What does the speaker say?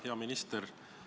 Hea minister!